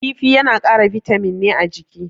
Kifi yana kara bitamin ne a jiki.